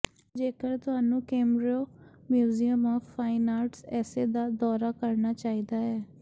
ਜੇਕਰ ਤੁਹਾਨੂੰ Kemerovo museum of fine arts ਇਸੇ ਦਾ ਦੌਰਾ ਕਰਨਾ ਚਾਹੀਦਾ ਹੈ